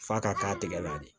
F'a ka k'a tigɛ la de